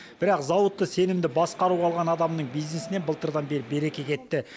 бірақ зауытты сенімді басқаруға алған адамның бизнесінен былтырдан бері береке кетті